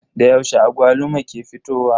Da yaushe agwaluma ke fitowa?